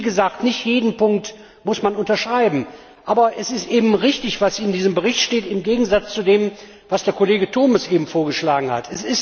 Wie gesagt, man muss nicht jeden Punkt unterschreiben. Aber es ist richtig, was in diesem Bericht steht im Gegensatz zu dem, was der Kollege Turmes eben vorgeschlagen hat.